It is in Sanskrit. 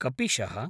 कपिशः